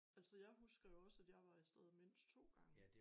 Altså jeg husker jo også at jeg var afsted mindst 2 gange